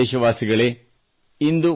ನನ್ನ ಪ್ರೀತಿಯ ದೇಶವಾಸಿಗಳೇ